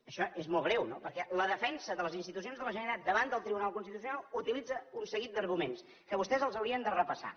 això és molt greu perquè la defensa de les institucions de la generalitat davant del tribunal constitucional utilitza un seguit d’arguments que vostès els haurien de repassar